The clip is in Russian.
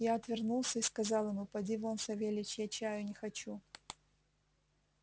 я отвернулся и сказал ему поди вон савельич я чаю не хочу